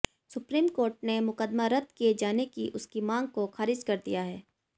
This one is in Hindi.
सुप्रीम कोर्ट ने मुकदमा रद्द किए जाने की उसकी मांग को खारिज कर दिया है